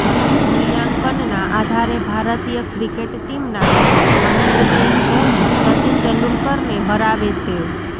મૂલ્યાંકનના આધારે ભારતીય ક્રિકેટ ટીમના કેપ્ટન મહેન્દ્ર સિંહ ધોની સચિન તેંડુલકરને હરાવે છે